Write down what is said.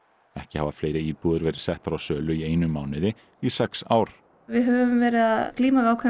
ekki hafa fleiri íbúðir verið settar á sölu í einum mánuði í sex ár við höfum verið að glíma við ákveðinn